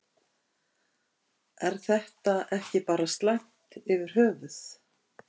Er þetta ekki bara slæmt yfir höfuð?